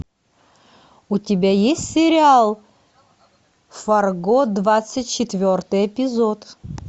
у тебя есть сериал фарго двадцать четвертый эпизод